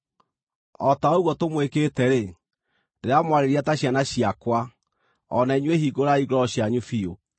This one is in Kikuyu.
O ta ũguo tũmwĩkĩte-rĩ, ndĩramwarĩria ta ciana ciakwa, o na inyuĩ hingũrai ngoro cianyu biũ.